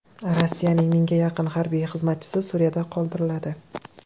Rossiyaning mingga yaqin harbiy xizmatchisi Suriyada qoldiriladi.